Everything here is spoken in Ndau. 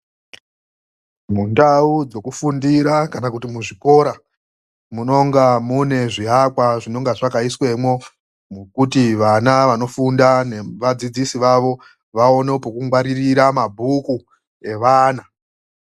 Mundau dzekufundira kana kuti muzvikora munonga mune zviakwa zvinonga zvakaiswemwo, mokuti vana vanofunda nevadzidzisi vavo vaone pekungwaririra mabhuku evana.